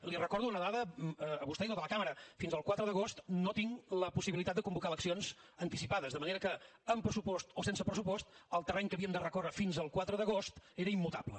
li recordo una dada a vostè i a tota la cambra fins el quatre d’agost no tinc la possibilitat de convocar eleccions anticipades de manera que amb pressupost o sense pressupost el terreny que havíem de recórrer fins al quatre d’agost era immutable